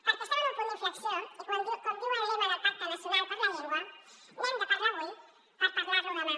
perquè estem en un punt d’inflexió i com diu el lema del pacte nacional per la llengua n’hem de parlar avui per parlar lo demà